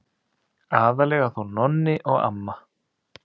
Aðallega þó Nonni og amma.